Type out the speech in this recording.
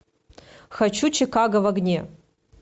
хочу чикаго в огне